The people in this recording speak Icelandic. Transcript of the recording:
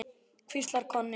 hvíslar Konni.